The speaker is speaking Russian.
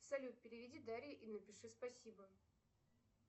салют переведи дарье и напиши спасибо